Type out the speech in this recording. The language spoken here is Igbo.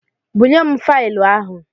Bunyem faịlụ ahụ!